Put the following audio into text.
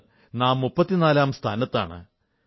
ഇന്ന് നാം 34 ാം സ്ഥാനത്താണ്